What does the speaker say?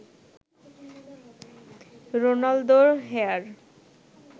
রোনালদোর হেয়ার